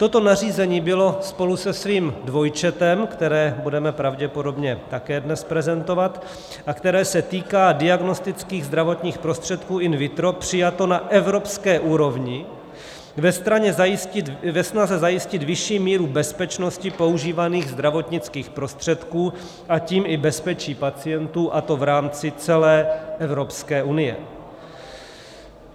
Toto nařízení bylo spolu se svým dvojčetem, které budeme pravděpodobně také dnes prezentovat a které se týká diagnostických zdravotních prostředků in vitro, přijato na evropské úrovni ve snaze zajistit vyšší míru bezpečnosti používaných zdravotnických prostředků, a tím i bezpečí pacientů, a to v rámci celé Evropské unie.